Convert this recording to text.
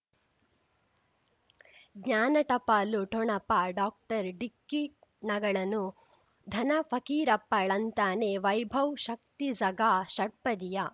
ಜ್ಞಾನ ಟಪಾಲು ಠೊಣಪ ಡಾಕ್ಟರ್ ಢಿಕ್ಕಿ ಣಗಳನು ಧನ ಫಕೀರಪ್ಪ ಳಂತಾನೆ ವೈಭವ್ ಶಕ್ತಿ ಝಗಾ ಷಟ್ಪದಿಯ